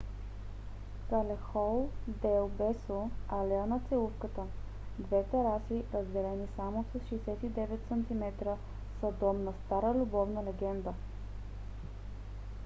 калехон дел бесо алея на целувката. две тераси разделени само с 69 см са дом на стара любовна легенда